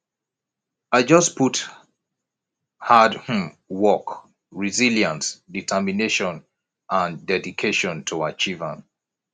i just put hard um work resilience determination and dedication to achieve am